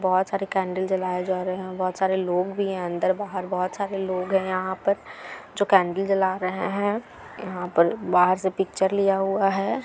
बहुत सारे कैन्डल जलाए जा रहे है और बहुत सारे लोग भी है अंदर बाहर बहुत सारे लोग है यहाँ पर जो कैन्डल जला रहे है और यहाँ पर बाहर से पिक्चर लिया हुआ है।